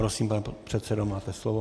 Prosím, pane předsedo, máte slovo.